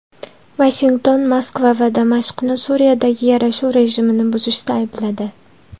Vashington Moskva va Damashqni Suriyadagi yarashuv rejimini buzishda aybladi.